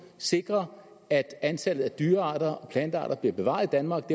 sikre at antallet af dyrearter og plantearter bliver bevaret i danmark